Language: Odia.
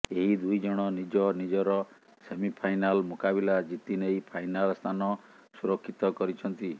ଏହି ଦୁଇ ଜଣ ନିଜ ନିଜର ସେମିଫାଇନାଲ୍ ମୁକାବିଲା ଜିତିନେଇ ଫାଇନାଲ୍ ସ୍ଥାନ ସୁରକ୍ଷିତ କରିଛନ୍ତି